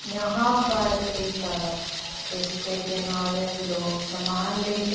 यहाँं पर एक सड़क है जिसके किनारे लोग सामान लेकर --